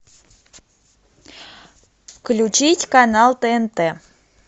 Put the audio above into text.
включить канал тнт